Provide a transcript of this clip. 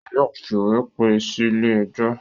Wọn yóò fìwé pè é sílé ẹjọ́.